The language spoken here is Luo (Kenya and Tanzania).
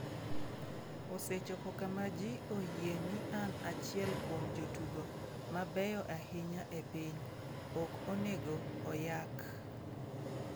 "Osechopo kama ji oyie ni an achiel kuom jotugo mabeyo ahinya e piny, ok onego oyak."""